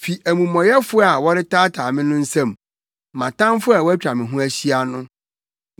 fi amumɔyɛfo a wɔretaataa me no nsam, mʼatamfo a wɔatwa me ho ahyia no.